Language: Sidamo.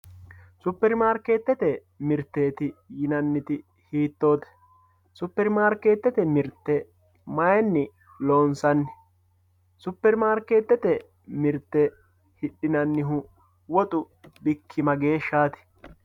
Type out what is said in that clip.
Superi maariketete miriteeti yinaniti hiitotte, super maariketete mirite mayini loonsanni, superi maariketete mirite hidhinanihu woxxu bikki mageeshati